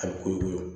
A bɛ kogo